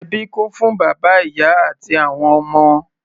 Ẹbí kún fún bàbá, ìyá àti àwọn ọmọ.